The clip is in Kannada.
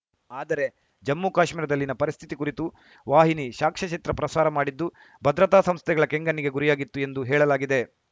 ಆದರೆ ಜಮ್ಮುಕಾಶ್ಮೀರದಲ್ಲಿನ ಪರಿಸ್ಥಿತಿ ಕುರಿತು ವಾಹಿನಿ ಸಾಕ್ಷ್ಯಚಿತ್ರ ಪ್ರಸಾರ ಮಾಡಿದ್ದು ಭದ್ರತಾ ಸಂಸ್ಥೆಗಳ ಕೆಂಗಣ್ಣಿಗೆ ಗುರಿಯಾಗಿತ್ತು ಎಂದು ಹೇಳಲಾಗಿದೆ